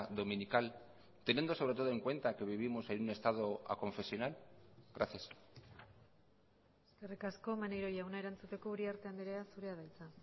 dominical teniendo sobre todo en cuenta que vivimos en un estado aconfesional gracias eskerrik asko maneiro jauna erantzuteko uriarte andrea zurea da hitza